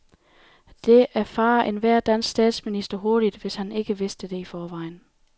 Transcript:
Det erfarer enhver dansk statsminister hurtigt, hvis han ikke vidste det i forvejen.